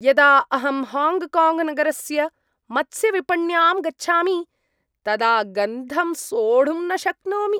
यदा अहं हाङ्ग्काङ्ग्नगरस्य मत्स्यविपण्यां गच्छामि तदा गन्धं सोढुं न शक्नोमि।